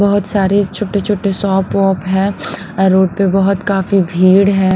बहुत सारे छोटे-छोटे शॉप वप है रोड पर बहुत काफी भीड़ है।